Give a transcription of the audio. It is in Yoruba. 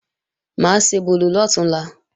Mà á ṣebòlò lọ̀túnla